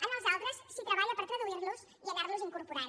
en els altres s’hi treballa per traduir los i anar los incorporant